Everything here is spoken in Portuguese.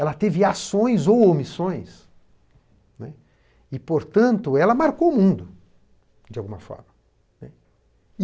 Ela teve ações ou omissões, né, e, portanto, ela marcou o mundo, de alguma forma, né.